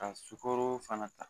Ka sukoro fana ta